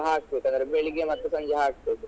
ಹಾಕ್ಬೇಕು ಅಂದ್ರೆ ಬೆಳ್ಳಿಗ್ಗೆ ಮತ್ತೆ ಸಂಜೆ ಹಾಕ್ಬೇಕು.